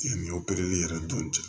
Yanni opereli yɛrɛ dɔn